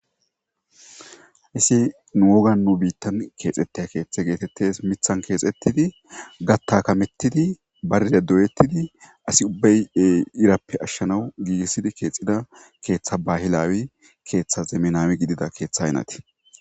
hessi nu woga nu biittan keexetteya keththe geetettes mithan keexettidi gatta kamettidi baride doyettidi asi ubbaye irappe ashshanawu giigissidi keexida keeththa bahilaawi keeththa zeminaami gidida keeththa haynati.